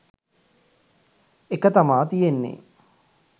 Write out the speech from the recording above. එක තමා තියෙන්නෙ.